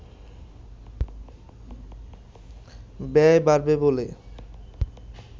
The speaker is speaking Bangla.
ব্যয় বাড়বে বলে